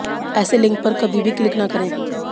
ऐसे लिंक पर कभी भी क्लिक न करें